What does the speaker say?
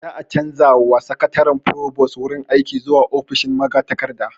Za'a canja wa Sakataren furobos wurin aiki zuwa ofishin magatakarda